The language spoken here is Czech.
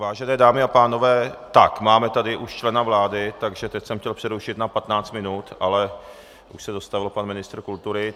Vážené dámy a pánové, tak, máme tady už člena vlády, takže teď jsem chtěl přerušit na 15 minut, ale už se dostavil pan ministr kultury.